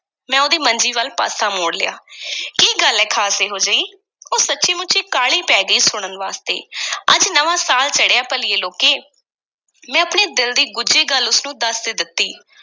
ਮੈਂ ਉਹਦੀ ਮੰਜੀ ਵੱਲ ਪਾਸਾ ਮੋੜ ਲਿਆ ਕੀ ਗੱਲ ਐ ਖ਼ਾਸ ਐਹੋ-ਜਿਹੀ? ਉਹ ਸੱਚੀਂ-ਮੁੱਚੀਂ ਕਾਹਲੀ ਪੈ ਗਈ ਸੀ, ਸੁਣਨ ਵਾਸਤੇ ਅੱਜ ਨਵਾਂ ਸਾਲ ਚੜ੍ਹਿਆ ਭਲੀਏ ਲੋਕੇ, ਮੈਂ ਆਪਣੇ ਦਿਲ ਦੀ ਗੁੱਝੀ ਗੱਲ ਉਸ ਨੂੰ ਦੱਸ ਈ ਦਿੱਤੀ।